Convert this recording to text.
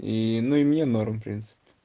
и ну и мне норм в принципе